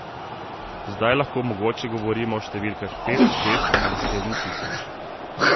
Zdaj lahko mogoče govorimo o številkah pet, šest ali sedem tisoč.